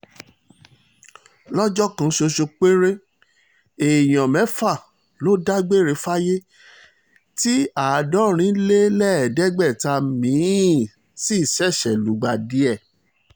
lọ́jọ́ kan ṣoṣo péré èèyàn mẹ́fà ló dágbére fáyé tí àádọ́rin lé lẹ́ẹ̀ẹ́dẹ́gbẹ̀ta mi-ín sì ṣèṣe lùgbàdì ẹ̀